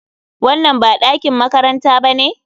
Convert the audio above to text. Wannan ba ɗakin makaranta ba ne?